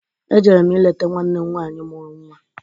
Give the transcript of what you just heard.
Ejere m ileta nwanne m nwanyị mụru nnwa.